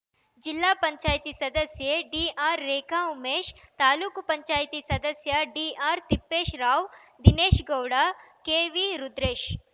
ಜಿಲ್ಲಾ ಪಂಚಾಯತಿ ಸದಸ್ಯೆ ಡಿಆರ್‌ರೇಖಾ ಉಮೇಶ್‌ ತಾಲೂಕ್ ಪಂಚಾಯತಿ ಸದಸ್ಯ ಡಿಆರ್‌ತಿಪ್ಪೇಶ್‌ರಾವ್‌ ದಿನೇಶ್‌ಗೌಡ ಕೆವಿರುದ್ರೇಶ್‌